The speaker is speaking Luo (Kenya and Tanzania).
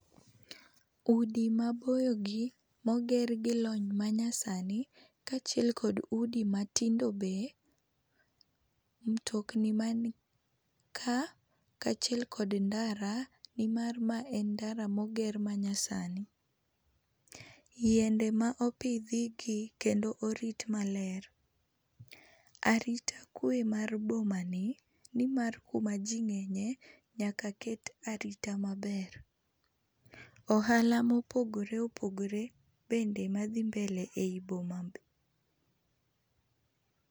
Udi maboyo gi, moger gi lony manyasani, kachiel kod udi matindo be. Mtokni manka, kachiel kod ndara, nimar ma en ndara moger manyasani. Yiende ma opidhigi kendo orit maler. Arita kwe mar boma ni, nimar kuma jii ng'enye nyaka ket arita maber. Ohala mopogore opogore bende madhi mbele ei boma be.